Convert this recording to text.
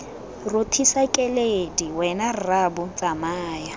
rothisa keledi wena rraabo tsamaya